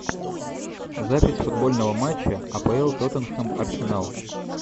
запись футбольного матча апл тоттенхэм арсенал